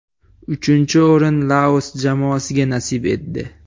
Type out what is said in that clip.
Uchinchi o‘rin Laos jamoasiga nasib etdi.